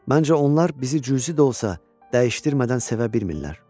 Məncə onlar bizi cüzi də olsa dəyişdirmədən sevə bilmirlər.